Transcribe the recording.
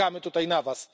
Czekamy tutaj na was!